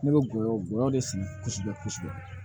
Ne bɛ gɔyɔ gɔyɔ de sigi kosɛbɛ kosɛbɛ